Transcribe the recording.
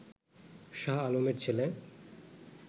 শাহ আলমের ছেলে